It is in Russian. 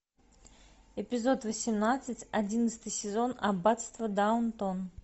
эпизод восемнадцать одиннадцатый сезон аббатство даунтон